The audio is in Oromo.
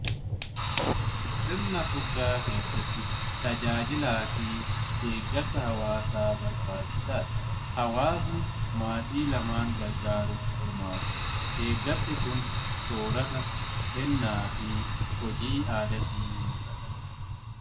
Sirna furdaa keessatti tajaajilaa fi deeggarsa hawwaasaa barbaachisaadha. Hawaasni maatii lamaan gargaaruuf hirmaatu. Deeggarsi kun soorata, kennaa fi hojii aadaatiin mul'ata.